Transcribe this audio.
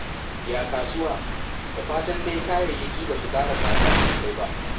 Ya kasuwa? Da fatan dai kayayyaki ba su ƙara tsada sosai ba.